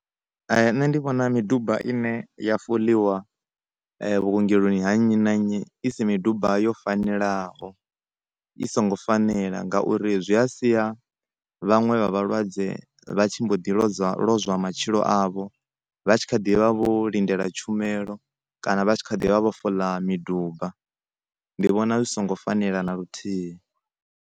Nṋe ndi vhona miduba ine ya foḽiwa vhuongeloni ha nnyi na nnyi i si miduba yo fanelaho i songo fanela ngauri zwi a sia vhaṅwe vha vhalwadze vha tshi mbo ḓi lodzwa, lozwa matshilo avho vha tshi kha ḓivha vho lindela tshumelo kana vha tshi khaḓivha vho foḽa miduba ndi vhona zwi songo fanela na luthihi.